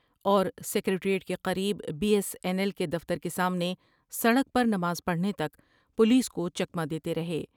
اور سکریٹریٹ کے قریب بی ایس این ایل کے دفتر کے سامنے سڑک پر نماز پڑھنے تک پولیس کو چکمہ دیتے رہے ۔